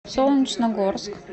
солнечногорск